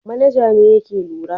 Manaja ne yake lura.